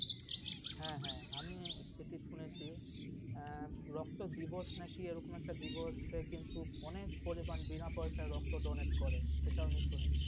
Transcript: হ্যাঁ আমি সেটা শুনেছি রক্ত দিবস নাকি এরকম একটা দিবস কিন্তু অনেক পরিমাণ বিনা পয়সায় রক্ত donate করে সেটাও আমি শুনেছি ।